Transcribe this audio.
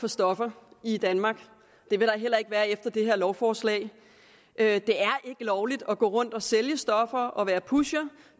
for stoffer i danmark det vil der heller ikke være efter det her lovforslag det er ikke lovligt at gå rundt og sælge stoffer og være pusher